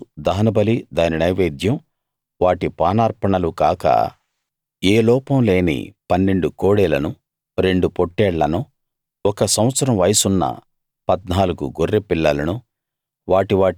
రెండో రోజు దహనబలి దాని నైవేద్యం వాటి పానార్పణలు కాక ఏ లోపం లేని 12 కోడెలను రెండు పొట్టేళ్ళను ఒక సంవత్సరం వయసున్న 14 గొర్రెపిల్లలను